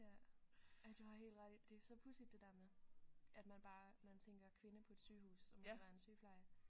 Ja ja du har helt ret i det er så pudsigt det der med at man bare man tænker kvinde på et sygehus så må det være en sygepleje